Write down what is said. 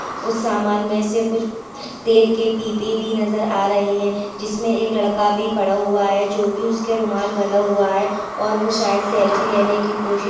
उस सामान मे से कुछ तेल के पिपे भी नजर आ रहे हैं। जिसमे एक लड़का भी खड़ा हुआ है जो कि उसके रुमाल बंधा हुआ है और वह शायद सेल्फी लेने की कोशिश --